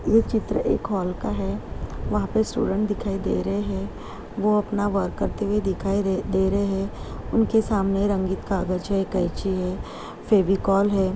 ये चित्र एक हॉल का है। वहाँ पे स्टूडेंट दिखाई दे रहे हैं। वो अपना वर्क करते हुए दिखाई दे दे रहे हैं। उनके सामने रंगीत कागज़ है कैंची है फेविकोल है।